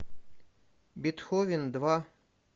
бетховен два